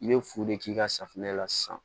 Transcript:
I bɛ fu de k'i ka safunɛ la sisan